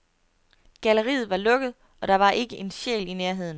Galleriet var lukket, og der var ikke en sjæl i nærheden.